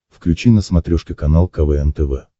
включи на смотрешке канал квн тв